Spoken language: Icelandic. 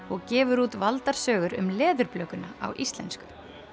og gefur út valdar sögur um á íslensku